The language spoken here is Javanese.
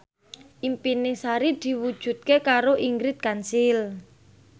impine Sari diwujudke karo Ingrid Kansil